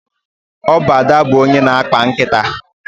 Ọ bụ Ada bụ onye na-akpa nkịta.